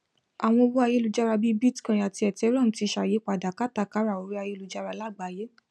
àwọn owó ayélujára bí i bitcoin àti ethereum ti ṣàyípadà kátàkárà orí ayelujára lágbàáyé